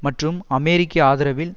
மற்றும் அமெரிக்க ஆதரவில்